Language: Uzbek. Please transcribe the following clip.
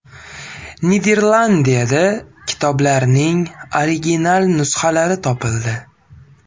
Niderlandiyada kitoblarning original nusxalari topildi.